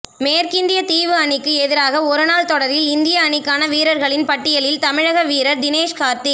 மேற்கிந்திய தீவு அணிக்கு எதிரான ஒருநாள் தொடரில் இந்திய அணிக்கான வீரர்களின் பட்டியலில் தமிழக வீரர் தினேஷ் கார்த்திக்